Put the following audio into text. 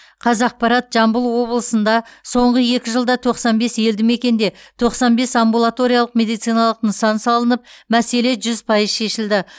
қазақпарат жамбыл облысында соңғы екі жылда тоқсан бес елді мекенде тоқсан бес амбулаториялық медициналық нысан салынып мәселе жүз пайыз шешілді